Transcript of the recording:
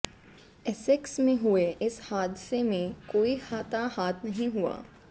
Essex में हुए इस हादसे में कोई हताहत नहीं हुआ